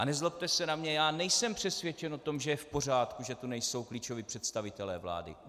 A nezlobte se na mě, já nejsem přesvědčen o tom, že je v pořádku, že tu nejsou klíčoví představitelé vlády.